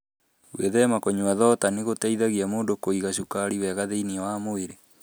Gwĩthema kũnyua thonda nĩ gũteithagia mũndũ kũiga cukari wega thĩinĩ wa mwĩrĩ.